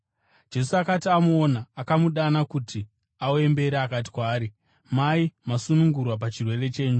Jesu akati amuona, akamudana kuti auye mberi akati kwaari, “Mai, masunungurwa pachirwere chenyu.”